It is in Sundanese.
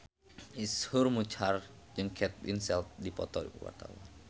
Iszur Muchtar jeung Kate Winslet keur dipoto ku wartawan